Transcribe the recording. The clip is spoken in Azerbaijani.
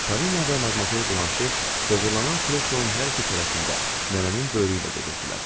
Polina və Madmazer Blanşi dığırlanan kreslonun hər iki tərəfində nənənin böyrüylə gedirdilər.